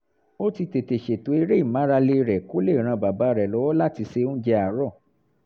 ó ti tètè ṣètò eré ìmárale rẹ̀ kó lè ran bàbá rẹ̀ lọ́wọ́ láti se oúnjẹ àárọ̀